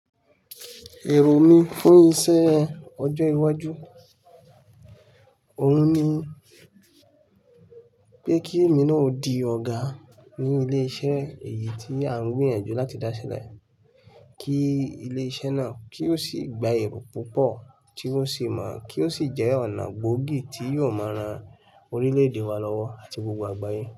Ẹro mi fún iṣẹ́ ọjọ́ iwájú, òun ni pé kí èmi náà ó di ọ̀gá ní ilé iṣẹ́ èyí tí à ń gbìyànjú láti dá sílẹ̀, kí ilé iṣẹ́ náà kí ó sì gba èrò púpọ̀ tí ó sì mọ̀ kí ó sì jẹ́ ọ̀nà gbóògì tí yóò máa ran orílẹ̀ èdè wa lọ́wọ́ àti gbogbo àgbáyé.